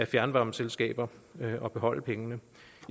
fjernvarmeselskaber og beholde pengene